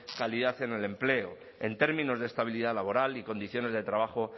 calidad en el empleo en términos de estabilidad laboral y condiciones de trabajo